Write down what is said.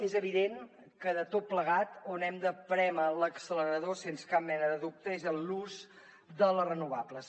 és evident que de tot plegat on hem de prémer l’accelerador sense cap mena de dubte és en l’ús de les renovables